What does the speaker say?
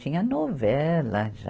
Tinha novela já.